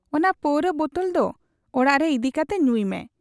ᱚᱱᱟ ᱯᱟᱹᱨᱩᱣᱟᱹ ᱵᱚᱛᱚᱞ ᱫᱚ ᱚᱲᱟᱜᱨᱮ ᱤᱫ ᱠᱟᱛᱮ ᱧᱩᱭᱢᱮ ᱾